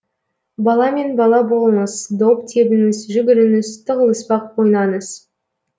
баламен бала болыңыз доп тебіңіз жүгіріңіз тығылыспақ ойнаңыз